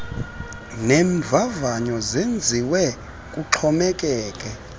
neemvavanyo zenziwe kuxhomekeke